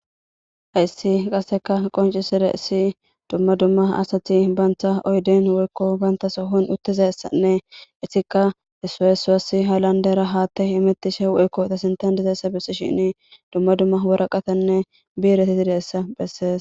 hayssi qaseka qoncisire issi dumma dumma asati banta oyden woykko banta sohon uttizassanne issika isaesaassi halandera haatte imettishe u7ekko ta sintan dizeessa besi shinni dumma dumma wora qatanne biiresi sideessa bessees